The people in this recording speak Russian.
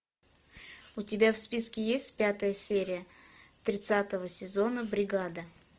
у тебя в списке есть пятая серия тридцатого сезона бригада